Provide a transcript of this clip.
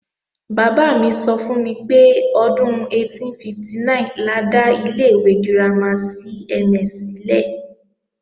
Bàbá mi sọ fún mi pé, ọdún 1859 la dá ilé ìwé girama CMS sílẹ̀